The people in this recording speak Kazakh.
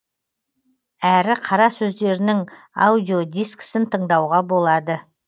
әрі қара сөздерінің аудиодискісін тыңдауға болады